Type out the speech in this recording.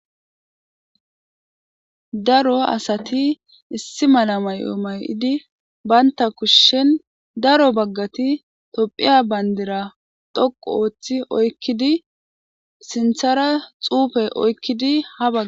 Daro asati issi mala mayo mayidi banita kushen daro bagati topheya banidira dhoqu othi oyikidi sinithara xupe oyikidi habagara